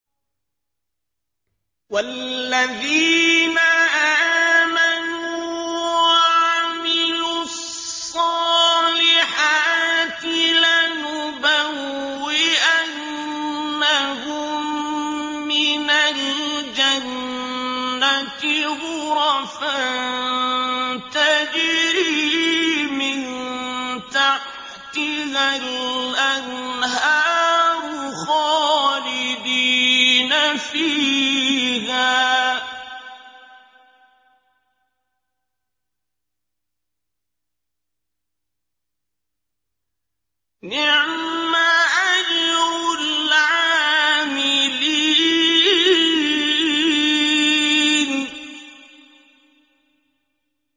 وَالَّذِينَ آمَنُوا وَعَمِلُوا الصَّالِحَاتِ لَنُبَوِّئَنَّهُم مِّنَ الْجَنَّةِ غُرَفًا تَجْرِي مِن تَحْتِهَا الْأَنْهَارُ خَالِدِينَ فِيهَا ۚ نِعْمَ أَجْرُ الْعَامِلِينَ